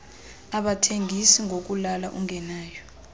abathengis ngokulala ungenayo